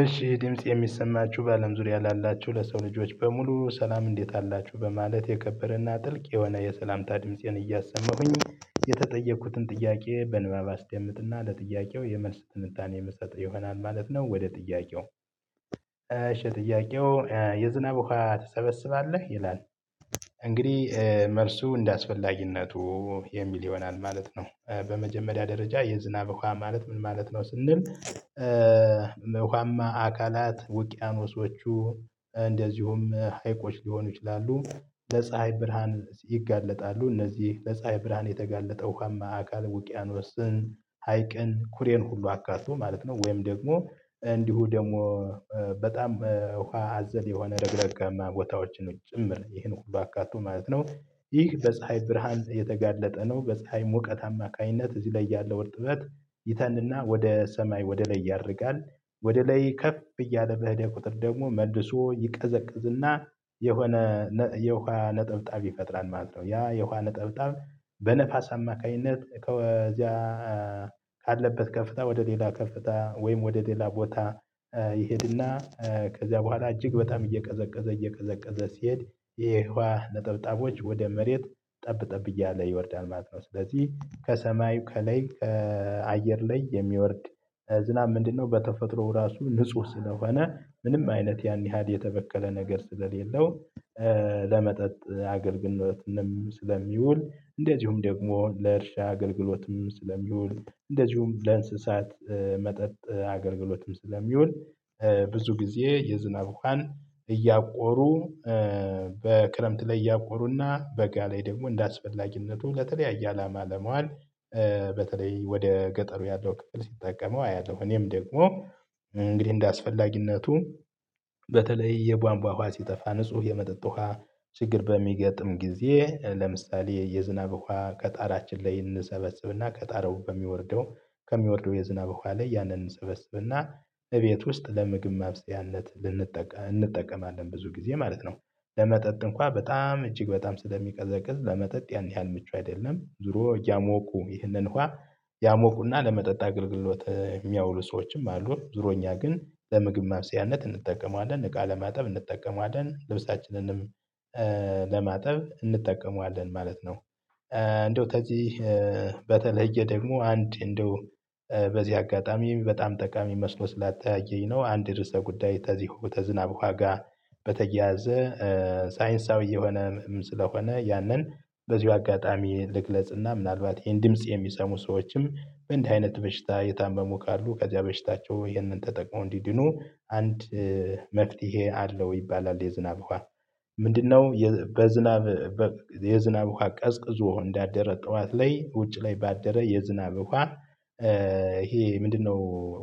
እሺ ድምጽ የሚሰማችሁ በአለም ዙሪያ ላላችሁ ለሰው ልጆች በሙሉ ሰላም እንዴት አላችሁ በማለት የከበረና ጥልቅ የሆነ የሰላምታ ድምፄን እያሰማሁኝ የተጠየኩትን ጥያቄ በንባብ አስደምጥና ለጥያቄው የመልስ ትንታኔ የምንሰጠው የሆነን ማለት ነው። ወደ ጥያቄው። እሺ ጥያቄው የዝናብ ውሃ ትሰበስባለህ ይላል? እንግዲህ መልሱ እንደ አስፈላጊነቱ የሚል ይሆናል ማለት ነው። በመጀመሪያ ደረጃ የዝናብ እኋ ማለት ምን ማለት ነው ስንል? ለውኃማ አካላት ውቅያኖሶቹ እንደዚሁም ሀይቆች ሊሆኑ ይችላሉ። ለፀሀይ ብርሃን ይጋለጣሉ እነዚህ ለፀሀይ ብርሃን የተጋለጠ ውሃማ አካል ውቅያኖስን ሀይቅን ኩሬን ሁሉ አካቶ ማለት ነው። ወይም ደግሞ እንዲሁ ደግሞ በጣም ውሃ አዘል የሆነ ረግረጋማ ቦታዎችን ጭምር ይህን ባካቱ ማለት ነው። ይህ በፀሀይ ብርሃን የተጋለጠ ነው በፀሀይ ሙቀት አማካይነት እዚህ ላይ ያለው እርጥበት ይተንና ወደ ሰማይ ወደ ላይ ያደርጋል። ወደ ላይ ከፍ እያለ በሄደ ቁጥር ደግሞ መልሶ ይቀዘቅዝና የሆነ የውሃ ነጥብጣብ ፈጥራል ማለት ነው። ያ የውሃ ነጥብጣብ በነፋስ አማካይነት ከዚያ ካለበት ከፍታ ወደ ሌላ ከፍታ ወይም ወደ ሌላ ቦታ። ይሄድና ከዚያ በኋላ እጅግ በጣም እየቀዘቀዘ እየቀዘቀዘ ሲሄድ የህዋ ነጠብጣቦች ወደ መሬት ጠብ ጠብ እያለ ይወርዳል ማለት ነው። ስለዚህ ከሰማዩ ከላይ ከአየር ላይ የሚወርድ ዝናብ ምንድነው? በተፈጥሮ ራሱ ንጹህ ስለሆነ ምንም አይነት ያን ይሀል የተበከለ ነገር ስለሌለው። ለመጠጥ አገልግሎት ስለሚውል እንደዚሁም ደግሞ ለእርሻ አገልግሎትም ስለሚውል እንደዚሁም ለእንስሳት መጠጥ አገልግሎትም ስለሚውል። ብዙ ጊዜ የዝናብ ውሃን እያቆሩ በክረምት ላይ እያቆሩና በጋ ላይ ደግሞ እንደ አስፈላጊነቱ ለተለያየ አላማ ለመዋል። በተለይ ወደ ገጠሩ ያለው ክፍል ሲጠቀመው አያለሁ። እኔም ደግሞ እንግዲህ እንደ እንደአስፈላጊነቱ። በተለይ የቧንቧ ውሃ ሲጠፋ ንጹህ የመጠጥ ውሃ ችግር በሚገጥም ጊዜ ለምሳሌ የዝናብ ውሃ ቀጣራችን ላይ እንሰበስብና ቀጣራው በሚወርደው ከሚወርደው የዝናብ ውሃ ላይ ያንን እንሰበስብና እቤት ውስጥ ለምግብ ማብሰያነት ልንጠቀም እንጠቀማለን ብዙ ጊዜ ማለት ነው። ለመጠጥ እንኳን በጣም እጅግ በጣም ስለሚቀዘቅዝ ለመጠጥ ያን ያህል ምቹ አይደለም ዙሮ እያሞቁ ይህንን ውሃ ያሞቁና ለመጠጥ አገልግሎት የሚያውሉ ሰዎችም አሉ። ዙሮኛ ግን ለምግብ ማብሰያነት እንጠቀመዋለን እቃ ለማጠብ እንጠቀመዋለን ልብሳችንንም ለማጠብ እንጠቀመዋለን ማለት ነው። እንደው ተዚህ በተለየ ደግሞ አንድ እንደው በዚህ አጋጣሚ በጣም ጠቃሚ መስሎ ስላተያየኝ ነው። አንድ ርዕሰ ጉዳይ ተዚሁ ተዝናብ ውሃ ጋ በተያያዘ። ሳይንሳዊ የሆነ ምንም ስለሆነ ያንን በዚሁ አጋጣሚ ልግለጽና ምናልባት ይሄን ድምጽ የሚሰሙ ሰዎችም በእንዲህ አይነት በሽታ የታመሙ ካሉ ከዚያ በሽታቸው ይሄንን ተጠቅመው እንዲድኑ አንድ መፍትሄ አለው ይባላል። የዝናብ ውሃ ምንድነው? በዝናብ የዝናብ ውሃ ቀዝቅዞ እንዳደረ ጠዋት ላይ ውጭ ላይ ባደረ የዝናብ ውሃ። ይሄ ምንድነው?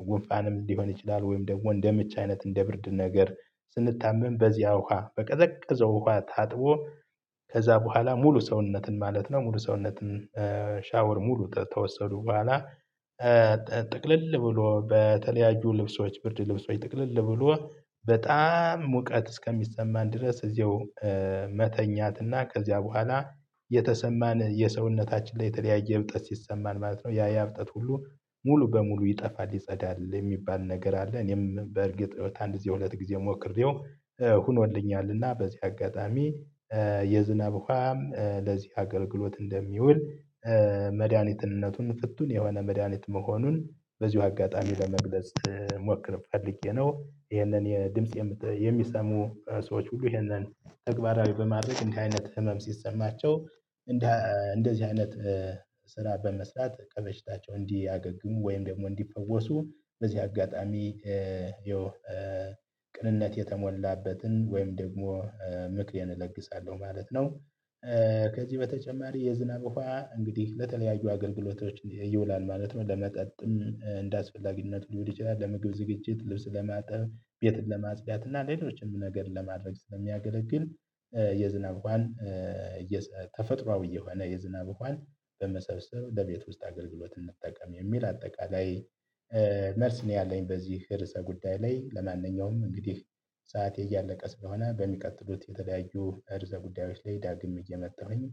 ጉንፋንም ሊሆን ይችላል ወይም ደግሞ እንደምች አይነት እንደ ብርድ ነገር ስንታመም በዚያ ውሃ በቀዘቀዘው ውሃ ታጥቦ ከዛ በኋላ ሙሉ ሰውነትን ማለት ነው። ሙሉ ሰውነትን ሻወር ሙሉ ተተወሰዱ በኋላ። ጥቅልል ብሎ በተለያዩ ልብሶች ብርድ ልብሶች ጥቅልል ብሎ በጣም ሙቀት እስከሚሰማን ድረስ እዚያው መተኛትና ከዚያ በኋላ የተሰማን የሰውነታችን ላይ የተለያየ እብጠት ሲሰማን ማለት ነው። ያያ እብጠት ሁሉ ሙሉ በሙሉ ይጠፋል ይጸዳል የሚባል ነገር አለ። እኔም በእርግጥ ይሄው ከ አንድ ጊዜ ሁለት ጊዜ ሞክሬው ሁኖልኛልና በዚህ አጋጣሚ የዝናብ ውሃም ለዚህ አገልግሎት እንደሚውል። መድሃኒትነቱን ፍቱን የሆነ መድሃኒት መሆኑን በዚሁ አጋጣሚ ለመግለጽ ሞክር ፈልጌ ነው። ይሄንን የድምጽ የሚሰሙ ሰዎች ሁሉ ይሄንን ተግባራዊ በማድረግ እንዲህ አይነት ህመም ሲሰማቸው እንደ እንደዚህ አይነት ስራ በመስራት ከበሽታቸው እንዲያገግሙ ወይም ደግሞ እንዲፈወሱ በዚህ አጋጣሚ። ያው ቅንነት የተሞላበትን ወይም ደግሞ ምክሬን እለግሳለሁ ማለት ነው። ከዚህ በተጨማሪ የዝናብ ውሃ እንግዲህ በተለያዩ አገልግሎቶች ይውላል ማለት ነው። ለመጠጥም እንዳስፈላጊነት ሊሆን ይችላል ለምግብ ዝግጅት ልብስ ለማጠብ ቤትን ለማጽዳት እና ሌሎችንም ነገር ለማድረግ ስለሚያገለግል። የዝናብ ወሃን ተፈጥሮአዊ የሆነ የዝናብ ውሃን በመሰብሰብ ለቤት ውስጥ አገልግሎት እንጠቀም የሚል አጠቃላይ መርልስ ነው። ያለኝ በዚህ ርዕሰ ጉዳይ ላይ። ለማንኛውም እንግዲህ ሰዓቴ እያለቀ ስለሆነ በሚቀጥሉት የተለያዩ ርዕሰ ጉዳዮች ላይ ዳግም እየመጣሁኝ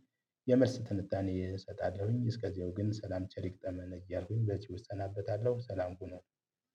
የመልስ ትንታኔ እሰጣለሁኝ። እስከዚያው ግን ሰላም ቸር ይግጠመን እልኩኝ በዚህ እሰናበታለሁ ሰላም ሁኑ።